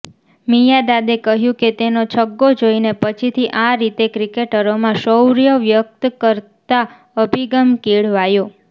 મિયાદાદે કહ્યું કે તેનો છગ્ગો જોઇને પછીથી આ રીતે ક્રિકેટરોમાં શૌર્ય વ્યક્ત કરતા અભિગમ કેળવાયો